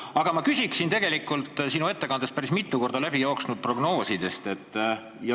Aga ma küsin sinu ettekandest päris mitu korda läbi jooksnud prognooside kohta.